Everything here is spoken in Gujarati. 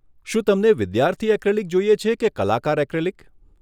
શું તમને વિદ્યાર્થી એક્રિલિક જોઈએ છે કે કલાકાર એક્રિલિક?